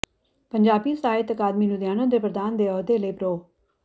ਪੰਜਾਬੀ ਸਾਹਿਤ ਅਕਾਡਮੀ ਲੁਧਿਆਣਾ ਦੇ ਪ੍ਰਧਾਨ ਦੇ ਅਹੁਦੇ ਲਈ ਪ੍ਰੋ